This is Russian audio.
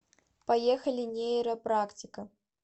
поехали нейро практика